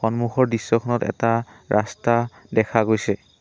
সন্মুখৰ দৃশ্যখনত এটা ৰাস্তা দেখা গৈছে।